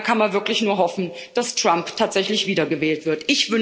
Und da kann man wirklich nur hoffen, dass Trump tatsächlich wiedergewählt wird.